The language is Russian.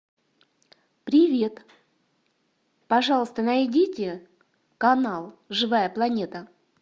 привет пожалуйста найдите канал живая планета